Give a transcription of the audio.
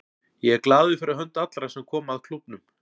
Ég er glaður fyrir hönd allra sem koma að klúbbnum.